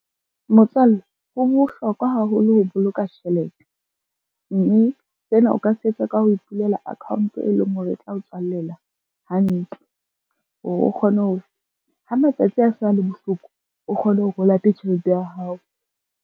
Motswalle ho bohlokwa haholo ho boloka tjhelete, mme sena o ka se etsa ka ho ipulela account e leng hore e tla o tswallela hantle, hore o kgone hore ha matsatsi a se a le bohloko, o kgone hore o late tjhelete ya hao.